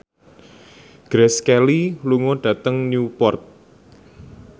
Grace Kelly lunga dhateng Newport